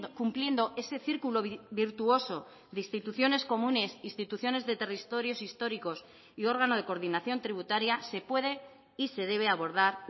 cumpliendo ese círculo virtuoso de instituciones comunes instituciones de territorios históricos y órgano de coordinación tributaria se puede y se debe abordar